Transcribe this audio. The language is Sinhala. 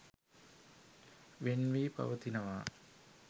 වෙන් වී පවතිනවා.